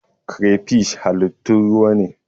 Crayfish halittun ruwa ne.